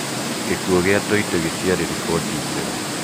"gikuo "kĩa Toite, ĩtĩarĩ riboti njega